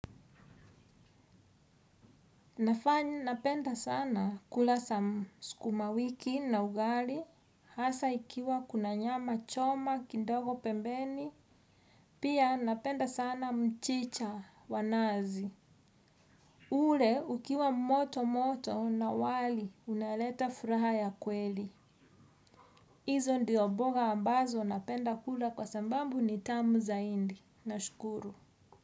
Nafanya napenda sana kula sukuma wiki na ugali. Hasa ikiwa kuna nyama choma kidogo pembeni. Pia napenda sana mchicha wa nazi. Ule ukiwa moto moto na wali unaleta furaha ya kweli. Hizo ndio mboga ambazo napenda kula kwa sababu ni tamu zaidi nashukuru.